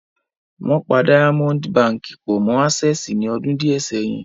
Wọ́n pa Díámọ́ǹdì baǹkì pọ̀ mọ́ Ásẹ́ẹ̀sì ní ọdún díẹ̀ sẹ́yìn.